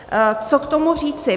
Co k tomu říci.